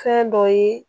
Fɛn dɔ ye